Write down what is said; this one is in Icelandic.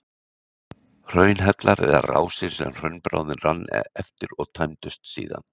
hraunhellar eru rásir sem hraunbráðin rann eftir og tæmdust síðan